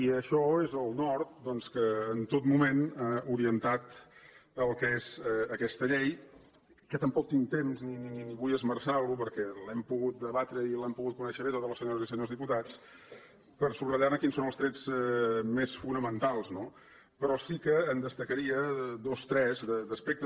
i això és el nord doncs que en tot moment ha orientat el que és aquesta llei que tampoc tinc temps ni vull esmerçar lo perquè l’hem pogut debatre i l’han pogut conèixer bé totes les senyores i senyors diputats a subratllar ne quins són els trets més fonamentals no però sí que en destacaria dos o tres d’aspectes